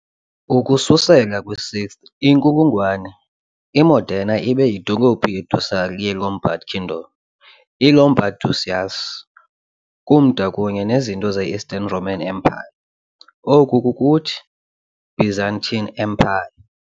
Ukususela kwi-6th inkulungwane, i-Modena ibe yidolophu ye-ducal ye- Lombard Kingdom i-Lombard Duchies kumda kunye nezinto ze-Eastern Roman Empire, oko kukuthi i-Byzantine Empire .